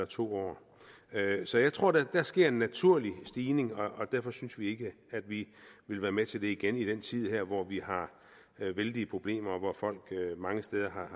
to år så jeg tror da at der sker en naturlig stigning og derfor synes vi ikke at vi vil være med til det igen i den her tid hvor vi har vældige problemer og hvor folk mange steder har